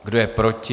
Kdo je proti?